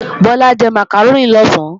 Bọ́lá jẹ màkàrónì lọ̀sán